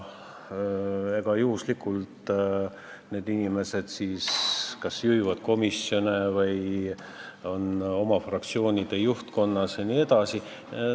Sugugi mitte juhuslikult need inimesed kas juhivad komisjone või on oma fraktsioonide juhtkonnas jne.